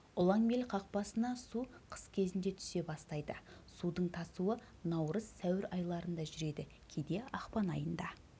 ұланбел қақпасына су қыс кезінде түсе бастайды судың тасуы наурыз сәуір айларында жүреді кейде ақпан айында